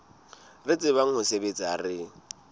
re tsebang ho sebetsa re